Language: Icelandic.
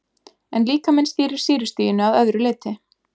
En líkaminn stýrir sýrustiginu að öðru leyti.